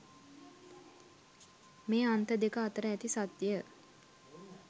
මේ අන්ත දෙක අතර ඇති සත්‍යය